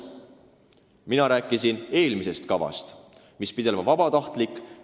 Mina rääkisin eelmisest kavast, mis pidi lähtuma vabatahtlikkusest.